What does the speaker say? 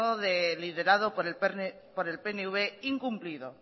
liderado por el pnv incumplido